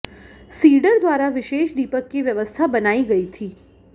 cedar द्वारा विशेष दीपक की व्यवस्था बनाई गई थी